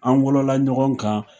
An wololɔla ɲɔgɔn kan